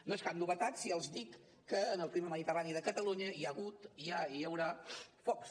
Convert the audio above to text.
no és cap novetat si els dic que en el clima mediterrani de catalunya hi ha hagut hi ha i hi haurà focs